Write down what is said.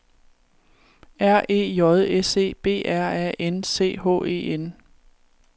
R E J S E B R A N C H E N